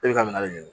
E bɛ ka minɛ de ɲini